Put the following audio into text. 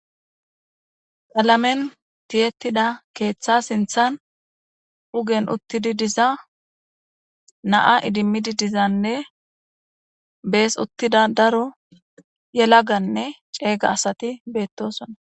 qalamen tiyettida keeththa sinthan ugen uttidi diza naa idimmidi dizanne bees uttida daro yelaganne ceeyga asati beettosona